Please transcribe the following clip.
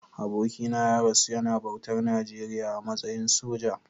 Abokina ya rasu yana bautar Najeriya a matsayin soja.